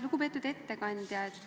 Lugupeetud ettekandja!